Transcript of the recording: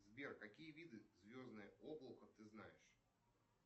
сбер какие виды звездное облако ты знаешь